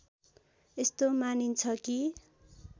यस्तो मानिन्छ कि